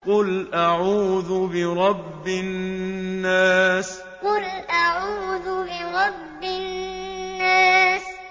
قُلْ أَعُوذُ بِرَبِّ النَّاسِ قُلْ أَعُوذُ بِرَبِّ النَّاسِ